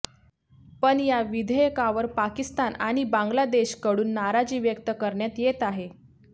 पण या विधेयकावर पाकिस्तान आणि बांगलादेशकडून नाराजी व्यक्त करण्यात येत आहे